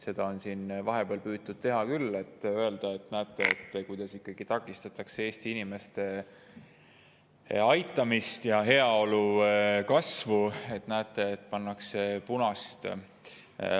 Seda on siin vahepeal püütud teha küll, et öelda, et näete, kuidas ikkagi takistatakse Eesti inimeste aitamist ja heaolu kasvu, pannakse punast.